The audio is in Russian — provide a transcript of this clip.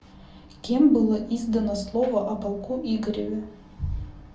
кем было издано слово о полку игореве